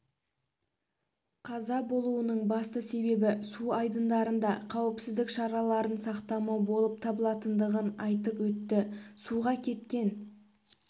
қаза болуының басты себебі су айдындарында қауіпсіздік шараларын сақтамау болып табылатындығын айтып өтті суға кеткен